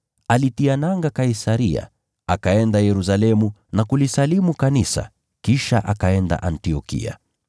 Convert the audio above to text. Alitia nanga Kaisaria, akaenda Yerusalemu na kulisalimu kanisa, kisha akaenda Antiokia.